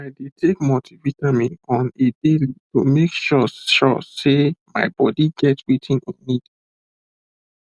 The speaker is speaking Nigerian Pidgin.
i dey take multivitamin on a daily to make sure sure sey my body get wetin e need